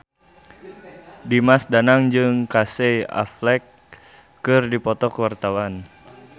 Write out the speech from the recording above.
Dimas Danang jeung Casey Affleck keur dipoto ku wartawan